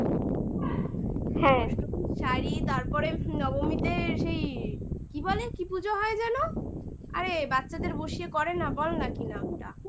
হ্যাঁ শাড়ি তারপরে নবমীতে সেই কি বলে? কি পুজো হয় জানো আরে বাচ্চাদের বসিয়ে করে না বলনা কি নামটা?